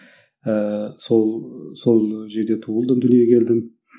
ыыы сол сол жерде туылдым дүниеге келдім